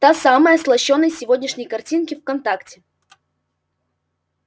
та самая с лощёной сегодняшней картинки в контакте